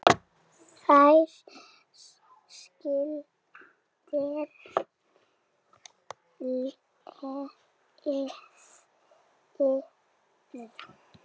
Hér skilur leiðir.